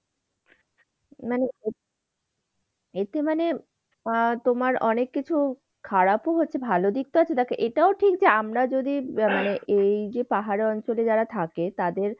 মানে এতে মানে আহ তোমার অনেক কিছু, খারাপও হচ্ছে ভালো দিকটাও একটু দেখ। এটাও ঠিক যে, আমরা যদি আহ মানে এই যে পাহাড়ের অঞ্চলে যারা থাকে তাদের